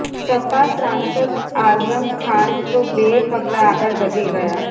સપા સાંસદ આઝમ ખાન તો બે પગલા આગળ વધી ગયા